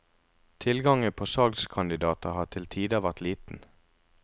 Tilgangen på salgskandidater har til tider vært liten.